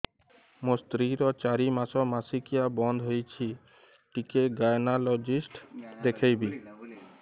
ମୋ ସ୍ତ୍ରୀ ର ଚାରି ମାସ ମାସିକିଆ ବନ୍ଦ ହେଇଛି ଟିକେ ଗାଇନେକୋଲୋଜିଷ୍ଟ ଦେଖେଇବି